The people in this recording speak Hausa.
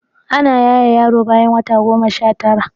Ana yaye yaro bayan wata goma Sha tara